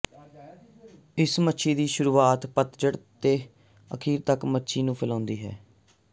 ਇਸ ਮੱਛੀ ਦੀ ਸ਼ੁਰੂਆਤ ਪਤਝੜ ਦੇ ਅਖੀਰ ਤੱਕ ਮੱਛੀ ਨੂੰ ਫੈਲਾਉਂਦੀ ਹੈ